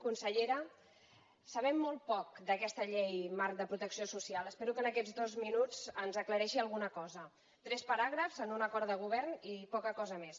consellera sabem molt poc d’aquesta llei marc de protecció social espero que en aquests dos minuts ens aclareixi alguna cosa tres paràgrafs en un acord de govern i poca cosa més